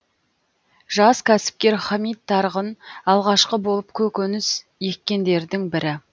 жас кәсіпкер хамит тарғын алғашқы болып көкөніс еккендердің бірі